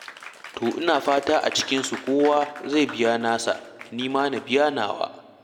To ina fata kowa a cikinsu zai biya nasa, ni ma na biya nawa.